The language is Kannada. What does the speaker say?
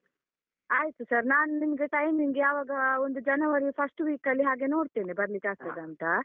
ಆಯ್ತು sir ನಾನು ನಿಮ್ಗೆ timing ಯಾವಾಗ ಒಂದು ಜನವರಿ first week ಲ್ಲಿ ಹಾಗೆ ನೋಡ್ತೇನೆ ಬರ್ಲಿಕ್ಕೆ ಆಗ್ತದಂತ.